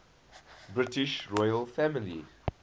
british royal family